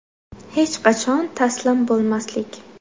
Hech qachon taslim bo‘lmaslik.